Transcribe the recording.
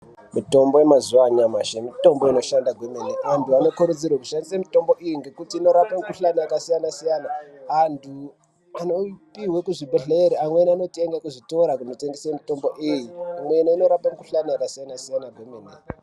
Mitombo inoshanda nyamashi mitombo inoshanda kwemene antu anokurudzirwa kushandisa mitombo ngekuti kune mikuhlani yakasiyana-siyana antu anopihwa kuzvibhedhlera amweni anotenga kuzvitoro zvinotengeswa mitombo iyi imweni inorapa mikuhlani yakasiyana-siyana.